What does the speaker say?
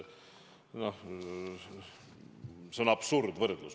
See on absurdne võrdlus.